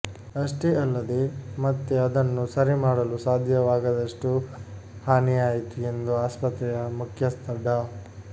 ಅಷ್ಟೇ ಅಲ್ಲದೇ ಮತ್ತೆ ಅದನ್ನು ಸರಿ ಮಾಡಲು ಸಾಧ್ಯವಾಗದಷ್ಟು ಹಾನಿಯಾಯಿತು ಎಂದು ಆಸ್ಪತ್ರೆಯ ಮುಖ್ಯಸ್ಥ ಡಾ